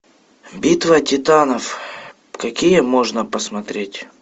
битва титанов какие можно посмотреть